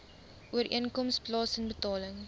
ooreenkoms plaasen betaling